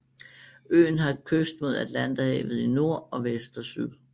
Øen har kyst mod Atlanterhavet i nord og vest og syd